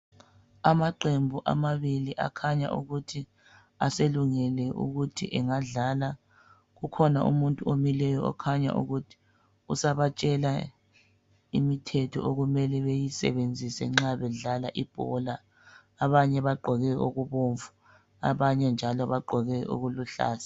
Amaqembu amabili akhanya ukuthi aselungele ukuthi anagadlala kukhona umuntu omileyo okhanya ukuthi usabatshela imithetho okumele beyisebenzise nxa bedlala ibhola abanye bagqoke okubomvu abanye njalo bagqoke okuluhlaza.